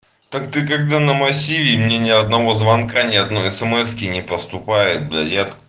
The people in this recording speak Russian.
так ты когда на массиве ни одного звонка ни одной эсэмэски не поступает блять я